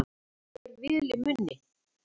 Eitthvað fer vel í munni